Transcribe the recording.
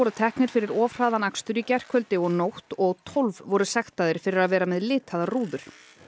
teknir fyrir of hraðan akstur í gærkvöldi og nótt og tólf voru sektaðir fyrir að vera með litaðar rúður